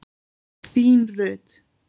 Þín, Rut.